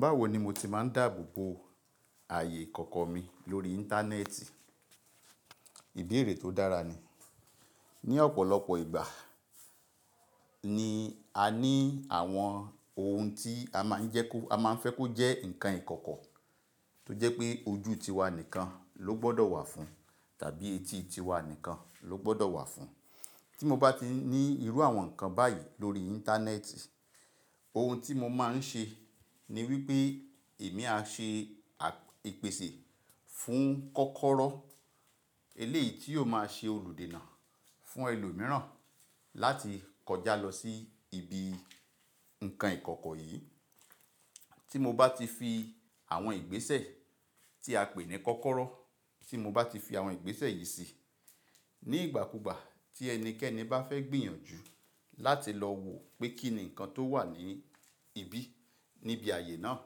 Báwo ni mo ti máa ń dáàbò bo ààyè ìkọ̀kọ̀ mi lórí Íńtánẹ́ẹ̀tì? Ìbéèrè tó dára ni. Ni ọ̀pọ̀lọpọ̀ ìgbà ni a ní àwọn ohun tí a máa ń fẹ́ kó jẹ́ nǹkan ìkọ̀kọ̀ tó jẹ́ pé ojú tiwa nìkan ló gbọ́dọ̀ wà fún tàbí etí tiwa nìkan ló gbọ́dọ̀ wà fún. Tí mo bá ti ní irú àwọn nǹkan báyìí lórí Íńtánẹ́ẹ̀tì, ohun tí mo máa ń ṣe ni wípé èmi á ṣe à epèsè fún kọ́kọ́rọ́, eléyìí tí yóò máa ṣe olùdènà fún ẹlòmíràn láti kọjá lọ sí ibi nǹkan ìkọ̀kọ̀ yìí. Tí mo bá ti fi àwọn ìgbésẹ̀ tí a pè ní kọ́kọ́rọ́, tí mo bá ti fi àwọn ìgbésẹ̀ yìí síi, ní ìgbàkúùgbà tí ẹnikẹ́ni bá fẹ́ gbìyànjú láti lọ wò pé kí ni nǹkan tó wà níbí níbi ààyè náà,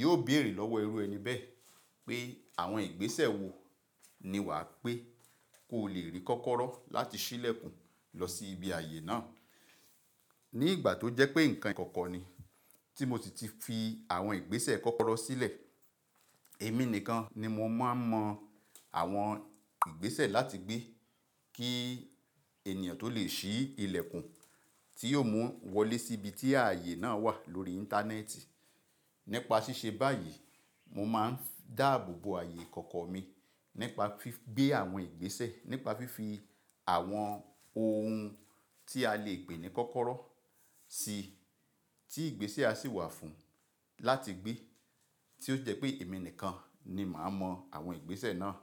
yóò béèrè lọ́wọ́ ẹrú ẹni bẹ́ẹ̀ pé àwọn ìgbésẹ̀ wo ni wà á pé kó le rí kọ́kọ́rọ́ láti ṣí ilẹ̀kùn lọ sí ibi ààyè náà. Ni ìgbà tó jẹ́ pé nǹkan ìkọ̀kọ̀ ni tí mo ti fi àwọn ìgbésẹ̀ kọ́kọ́rọ́ sílẹ̀, èmi nìkan ni mo máa mọ àwọn ìgbésẹ̀ láti gbé kí ènìyàn tó lè ṣí ilẹ̀kùn tí yóò mú wọn wọlé sí ibi tí ààyè náà wà lórí Íńtánẹ́ẹ̀tì. Nípa ṣíṣe báyìí, mo máa ń dáàbò bo ààyè ìkọ̀kọ̀ mi nípa gbé àwọn ìgbésẹ̀, nípa fífi àwọn ohun tí a lè pè ní kọ́kọ́rọ́ sí tí ìgbésẹ̀ a sì wà fún láti gbé tí ó jẹ́ pé èmi nìkan ni màá mọ àwọn ìgbésẹ̀ náà.